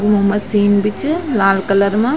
इम्मा machine बि च लाल कलर मा।